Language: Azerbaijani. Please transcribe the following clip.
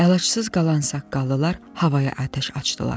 Əlacısız qalan saqqallılar havaya atəş açdılar.